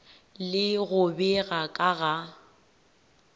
le go bega ka ga